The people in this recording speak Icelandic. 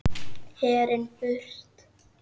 Herinn burt!